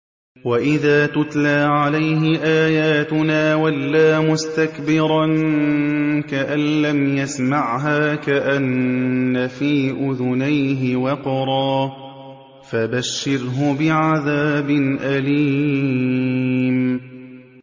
وَإِذَا تُتْلَىٰ عَلَيْهِ آيَاتُنَا وَلَّىٰ مُسْتَكْبِرًا كَأَن لَّمْ يَسْمَعْهَا كَأَنَّ فِي أُذُنَيْهِ وَقْرًا ۖ فَبَشِّرْهُ بِعَذَابٍ أَلِيمٍ